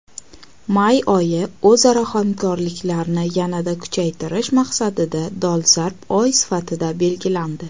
May oyi o‘zaro hamkorlikni yanada kuchaytirish maqsadida dolzarb oy sifatida belgilandi.